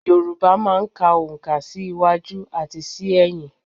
Yorùbá máa ń ka oǹkà sí iwájú àti sí ẹ̀yìn